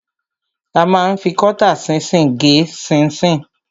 A ma ń fi kọ́tà ṣinṣin gé ṣinṣin.